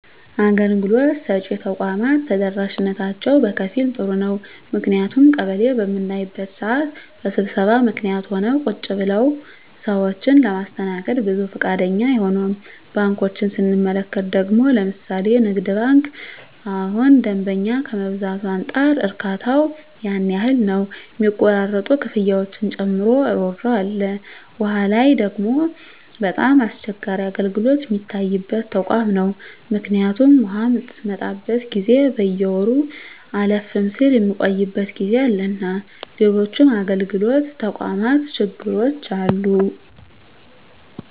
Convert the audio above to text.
አገልግሎት ሰጭ ተቋማት ተደራሽነታቸው በከፊል ጥሩ ነው ምክንያቱም ቀበሌ በምናይበት ስዓት በስብሰባ ምክኒትም ሆነ ቁጭ ብለውም ሰዎችን ለማስተናገድ ብዙ ፈቃደኛ አይሆኑም። ባንኮችን ስንመለከት ደግሞ ለምሣሌ ንግድ ባንክ እሁን ደንበኛ ከመብዛቱ አንፃር እርካታው ያን ያህል ነው ሚቆራረጡ ክፍያዎችን ጨምሮ እሮሮ አለ። ዉሃ ላይ ደግሞ በጣም አስቸጋሪ አገልግሎት ሚታይበት ተቋም ነው ምክኒቱም ውሃ ምትመጣበት ጊዜ በየወሩ አለፍም ስል ሚቆይበት ጊዜ አለና ሎሎችም የአገልግሎት ተቋማት ችግሮች አሉ።